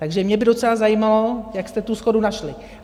Takže mě by docela zajímalo, jak jste tu shodu našli.